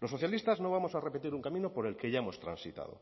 los socialistas no vamos a repetir un camino por el que ya hemos transitado